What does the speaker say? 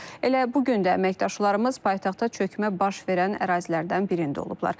Elə bu gün də əməkdaşlarımız paytaxtda çökmə baş verən ərazilərdən birində olublar.